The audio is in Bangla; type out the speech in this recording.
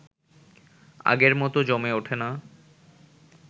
আগের মতো জমে উঠে না